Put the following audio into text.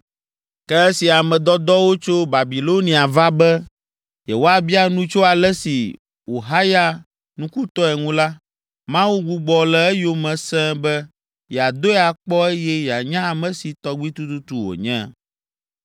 Ke esi ame dɔdɔwo tso Babilonia va be, yewoabia nu tso ale si wòhaya nukutɔe ŋu la, Mawu gbugbɔ le eyome sẽe be yeadoe akpɔ eye yeanya ame si tɔgbi tututu wònye.